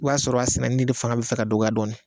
i b'a sɔrɔ a sɛnɛni de fanga bɛ fɛ ka dɔgɔya dɔɔnin